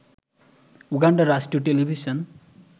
উগান্ডার রাষ্ট্রীয় টেলিভিশন